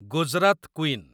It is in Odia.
ଗୁଜରାତ କୁଇନ୍